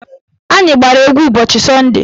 Anyị gbara egwu ụbọchị sọnde